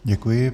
Děkuji.